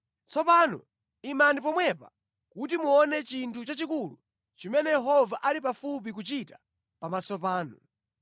“Tsono imani pomwepa kuti muone chinthu chachikulu chimene Yehova ali pafupi kuchita pamaso panu!